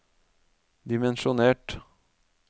dimensjonert